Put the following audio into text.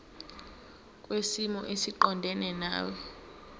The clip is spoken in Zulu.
kwisimo esiqondena nawe